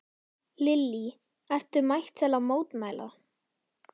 Lillý: Ert þú mætt til að mótmæla?